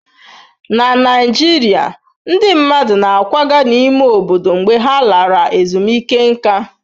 Na Naijiria, ndị mmadụ na-akwaga n'ime obodo mgbe ha lara ezumike nká.